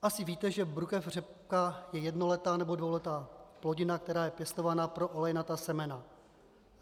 Asi víte, že brukev řepka je jednoletá nebo dvouletá plodina, která je pěstovaná pro olejnatá semena.